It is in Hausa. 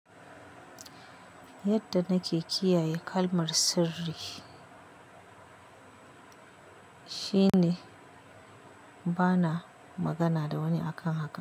Yadda nake kiyaye kalmar sirri shine bana magana da wani akan haka.